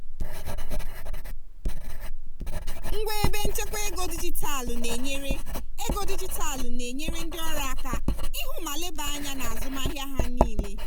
ngwa ebe nchekwa ego dijitalụ na-enyere ego dijitalụ na-enyere ndị ọrụ aka ịhụ ma leba anya n'azụmahịa ha niile.